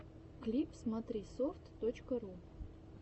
клип смотрисофт точка ру